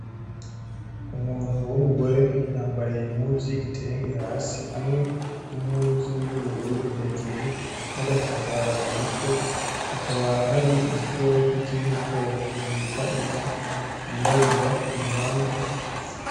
Umuntu w'umugore yambaye impuzu y’igitenge hasi hamwe n'impuzu yubururu hejuru nagatambara mumutwe, akaba hari igikoko kiri mu bwoko bita inka yirabura iruhande.